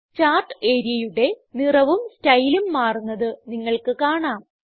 chart areaയുടെ നിറവും സ്റ്റൈലും മാറുന്നത് നിങ്ങൾക്ക് കാണാം